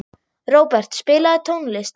Robert, spilaðu tónlist.